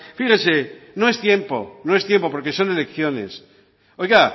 fíjese no es tiempo no es tiempo porque son elecciones oiga